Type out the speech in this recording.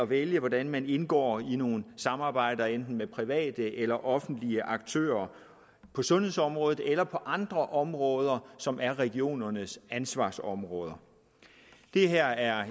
vælge hvordan man indgår i nogle samarbejder enten med private eller offentlige aktører på sundhedsområdet eller på andre områder som er regionernes ansvarsområder det her er